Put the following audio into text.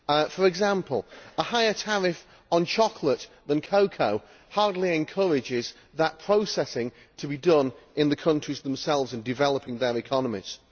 For example, a higher tariff on chocolate than cocoa hardly encourages processing to be done in the countries themselves and the development of their economies.